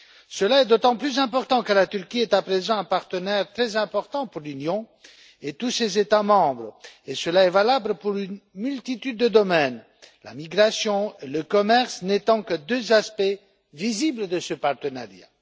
Cela est d'autant plus important que la Turquie est à présent un partenaire très important pour l'Union et tous ses États membres, et cela est valable pour une multitude de domaines. La migration et le commerce ne sont que deux aspects visibles de ce partenariat.